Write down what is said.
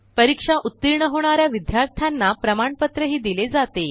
परीक्षेत उत्तीर्ण होणाऱ्या विद्यार्थ्यांना प्रमाणपत्र दिले जाते